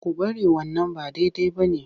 Ku bari wannan ba daidai ba ne!